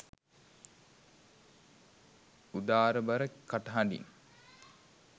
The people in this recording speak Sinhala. උාදරබර කටහඬින්